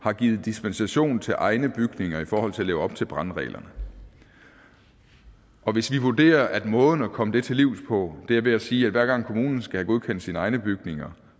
har givet dispensation til egne bygninger i forhold til at leve op til brandreglerne og hvis vi vurderer at måden at komme det til livs på er ved at sige at hver gang kommunen skal godkende sine egne bygninger